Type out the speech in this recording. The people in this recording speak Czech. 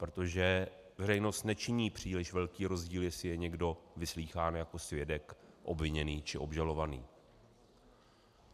Protože veřejnost nečiní příliš velký rozdíl, jestli je někdo vyslýchán jako svědek, obviněný, či obžalovaný.